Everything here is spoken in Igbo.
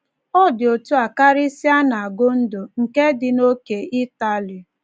Ọ dị otú a karịsịa na Gondo, nke dị n’ókè Ịtali.